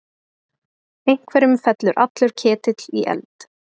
Einhverjum fellur allur ketill í eld